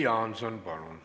Jüri Jaanson, palun!